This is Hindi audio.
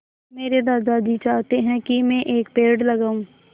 मेरे दादाजी चाहते हैँ की मै एक पेड़ लगाऊ